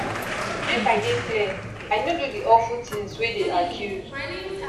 make i dey clear i no do di awful tins wey dey accused